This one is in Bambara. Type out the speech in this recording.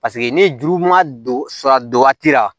Paseke ni juru ma don sa don waati la